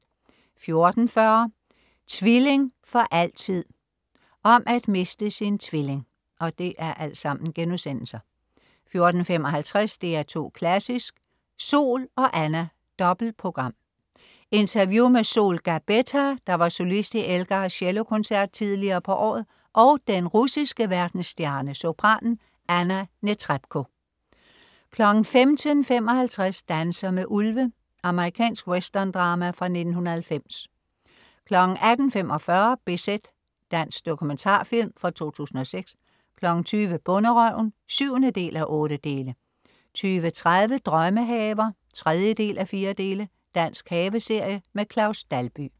14.40 Tvilling for altid: om at miste sin tvilling* 14.55 DR2 Klassisk: Sol og Anna. Dobbeltprogram. Interview med Sol Gabetta, der var solist i Elgars cellokoncert tidligere på året, og den russiske verdensstjerne, sopranen Anna Netrebko 15.55 Danser med ulve. Amerikansk westerndrama fra 1990 18.45 BZ. Dansk dokumentarfilm fra 2006 20.00 Bonderøven 7:8 20.30 Drømmehaver 3:4. Dansk haveserie. Claus Dalby